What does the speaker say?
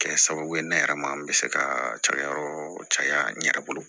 Kɛ sababu ye ne yɛrɛ ma n bɛ se ka cakɛ yɔrɔ caya n yɛrɛ bolo